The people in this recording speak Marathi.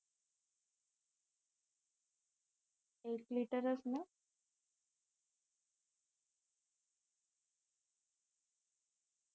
एक लिटर च ना